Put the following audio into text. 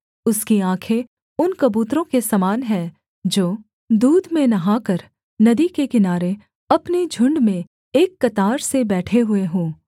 उसकी आँखें उन कबूतरों के समान हैं जो दूध में नहाकर नदी के किनारे अपने झुण्ड में एक कतार से बैठे हुए हों